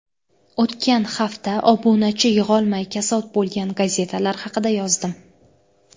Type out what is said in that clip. O‘tgan hafta obunachi yig‘olmay kasod bo‘lgan gazetalar haqida yozdim .